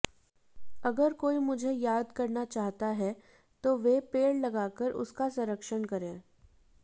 अगर कोई मुझे याद करना चाहता है तो वे पेड़ लगाकर उसका संरक्षण करे